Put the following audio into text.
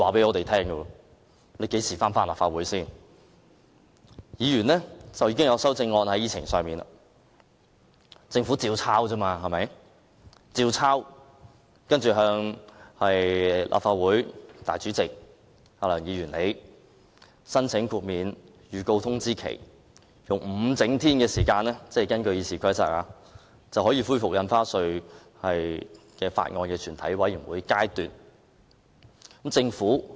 議程上已列出議員的修正案，政府只須依樣葫蘆，接着向立法會主席梁議員申請豁免預告通知，根據《議事規則》，5 整天後就可恢復《條例草案》的全體委員會審議階段的討論。